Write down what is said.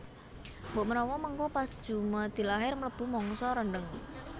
Mbok menawa mengko pas jumadilakhir mlebu mangsa rendheng